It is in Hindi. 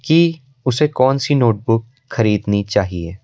कि उसे कौन सी नोटबुक खरीदनी चाहिए।